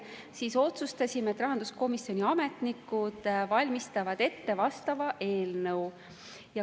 Otsustasime, et rahanduskomisjoni ametnikud valmistavad ette vastava eelnõu.